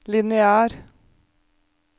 lineær